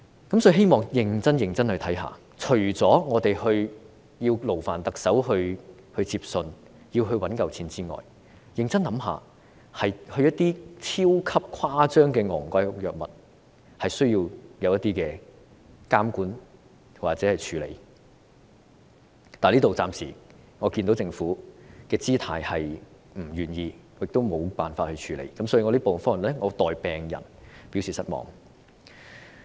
因此，希望當局認真審視，除了勞煩特首接信和籌措足夠金錢之外，認真想一想，一些超級誇張昂貴的藥物是需要監管或處理的，但暫時我們看到政府的姿態是不願意，亦無法處理，所以我在此代表病人表示失望。